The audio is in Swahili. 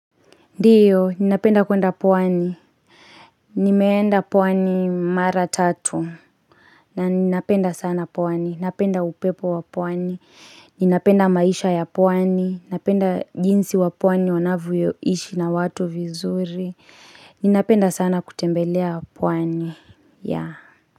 Ndiyo, ninapenda kuenda pwani, nimeenda pwani mara tatu, na ninapenda sana pwani, ninapenda upepo wapwani, ninapenda maisha ya pwani, ninapenda jinsi wapwani wanavyoishi na watu vizuri, ninapenda sana kutembelea pwani.